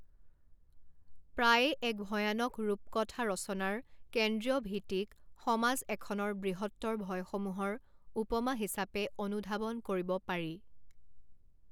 প্ৰায়ে এক ভয়ানক ৰূপকথা ৰচনাৰ কেন্দ্ৰীয় ভীতিক সমাজ এখনৰ বৃহত্তৰ ভয়সমূহৰ উপমা হিচাপে অনুধাৱন কৰিব পাৰি।